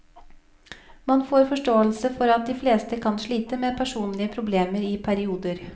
Man får forståelse for at de fleste kan slite med personlige problemer i perioder.